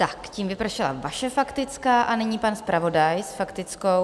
Tak tím vypršela vaše faktická a nyní pan zpravodaj faktickou.